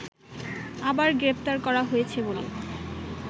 আবার গ্রেফতার করা হয়েছে বলে